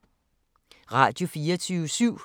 Radio24syv